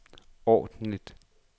ordentligt